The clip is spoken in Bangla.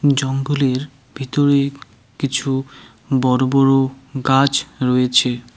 জঙ্গলের ভিতরে কিছু বড় বড় গাছ রয়েছে।